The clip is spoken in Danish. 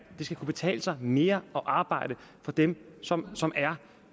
skal kunne betale sig mere at arbejde for dem som som er